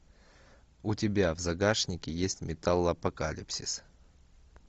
у тебя в загашнике есть металлопокалипсис